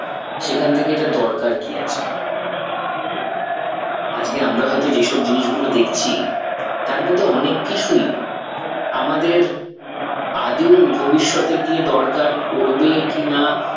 সেখান থেকে এটা দরকার কি আছে? আজকে আমরা হয় তো যে সব জিনিস গুলো দেখছি তার মধ্যে অনেক কিছুই আমাদের আদেও ভবিষ্যতে গিয়ে দরকার পরবে কি না